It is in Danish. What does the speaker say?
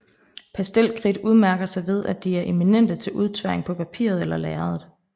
Pastelkridt udmærker sig ved at de er eminente til udtværing på papiret eller lærredet